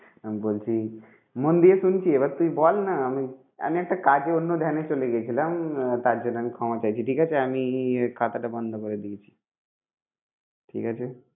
আমি বলছি মন দিয়ে শুনছি এবার তুই বল না আমি আমি একটা কাজে অন্য ধ্যানে চলে গেছিলাম তার জন্য আমি ক্ষমা চাইছি ঠিক আছে আমি খাতাটা বন্ধ করে দিয়েছি। ঠিক আছে?